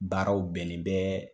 Baaraw bɛnnen bɛ